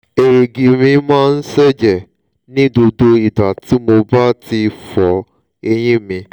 èrìgì mi máa ń ṣẹẹ̀jẹ̀ ní gbogbo ìgbà tí mo bá ti fọ eyín mi